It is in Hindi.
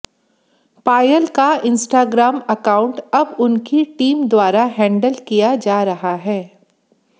पायल का इंस्टाग्राम अकाउंट अब उनकी टीम द्वारा हैंडल किया जा रहा है